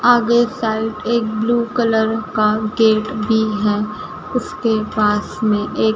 आगे एक साइड एक ब्लू कलर का गेट भी है उसके पास में एक--